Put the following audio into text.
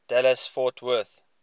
dallas fort worth